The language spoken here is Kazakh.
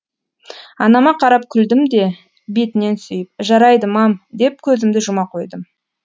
анама қарап күлдім де бетінен сүйіп жарайды мам деп көзімді жұма қойдым